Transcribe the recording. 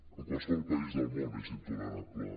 a qualsevol país del món és intolerable